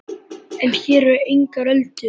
En hér eru engar öldur.